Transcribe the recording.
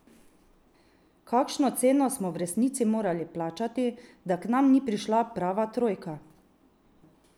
Kakšno ceno smo v resnici morali plačati, da k nam ni prišla prava trojka?